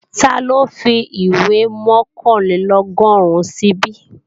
Taló fìwé mọ̀kànlélọ́gọ́rùn síbí?